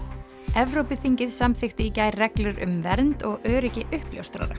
Evrópuþingið samþykkti í gær reglur um vernd og öryggi uppljóstrara